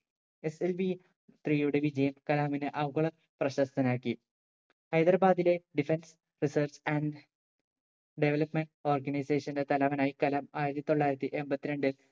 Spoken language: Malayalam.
SLVthree യുടെ വിജയം കലാമിനെ ആഗോള പ്രശസ്തനാക്കി ഹൈദരാബാദിലെ Defence research and development organisation ന്റെ തലവനായി കലാം ആയിരത്തി തൊള്ളായിരത്തി എമ്പത്തി രണ്ടിൽ